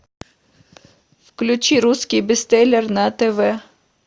включи русский бестселлер на тв